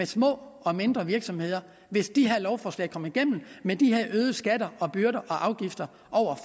små og mindre virksomheder hvis de her lovforslag kommer igennem med de her øgede skatter byrder og afgifter